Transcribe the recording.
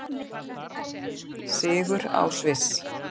Sigur á Sviss